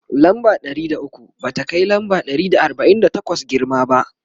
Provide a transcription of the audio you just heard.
lamba Ɗari da ukwu ba ta Kai lamba Ɗari da arbain da takwas girma ba